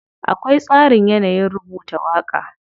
Akwai tsarin yanayin rubuta waƙa.